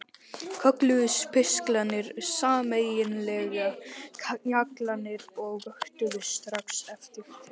Kölluðust pistlarnir sameiginlega Kjallarinn og vöktu strax eftirtekt.